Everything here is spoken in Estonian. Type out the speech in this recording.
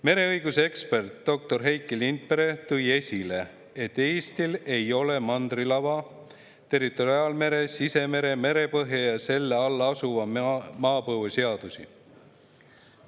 Mereõiguse ekspert doktor Heiki Lindpere tõi esile, et Eestil ei ole mandrilava, territoriaalmere, sisemere, merepõhja ja selle all asuva maapõue seadusi.